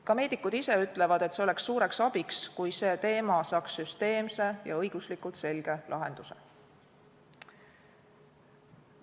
Ka meedikud ise ütlevad, et oleks suureks abiks, kui see valdkond saaks süsteemse ja õiguslikult selge lahenduse.